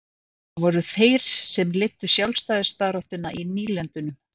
það voru þeir sem leiddu sjálfstæðisbaráttuna í nýlendunum